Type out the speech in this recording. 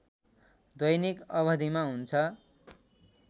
दैनिक अवधिमा हुन्छ